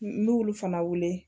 N'ulu fana wele